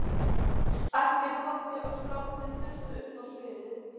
æpti Kobbi og strákarnir þustu upp á sviðið